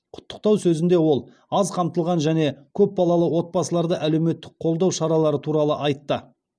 құттықтау сөзінде ол аз қамтылған және көп балалы отбасыларды әлеуметтік қолдау шаралары туралы айтты